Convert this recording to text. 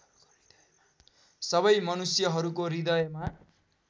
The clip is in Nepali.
सबै मनुष्यहरूको हृदयमा